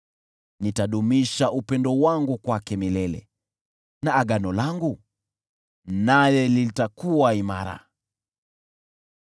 Nitadumisha upendo wangu kwake milele, na agano langu naye litakuwa imara.